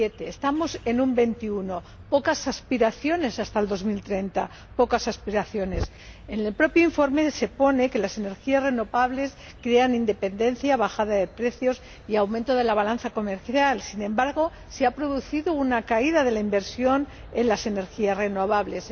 27 Estamos en un 21 pocas aspiraciones hasta el año 2030. En el propio informe se indica que las energías renovables crean independencia, bajada de precios y aumento de la balanza comercial sin embargo, se ha producido una caída de la inversión en las energías renovables.